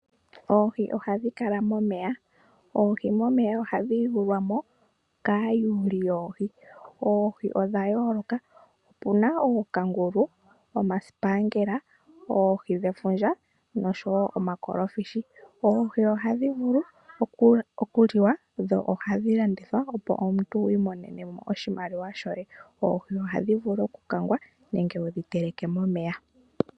Oohi ohadhi kala momeya. Oohi momeya ohadhi yuulwamo kaayuuli yoohi. Oohi odha yooloka, opuna ookangulu, omasipangela, oohi dhefundja noshowo omakolofishi. Oohi ohadhi vulu okuliwa dho ihadhi landithwa opo omuntu wu imonenemo oshimaliwa shoye. Oohi ohadhi vulu okukangwa nenge wu dhi teleke momeya.